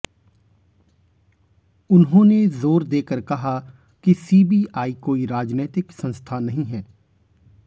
उन्होंने जोर देकर कहा कि सीबीआई कोई राजनैतिक संस्था नहीं है